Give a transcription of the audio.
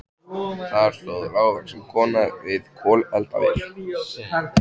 Þar stóð lágvaxin kona við kolaeldavél.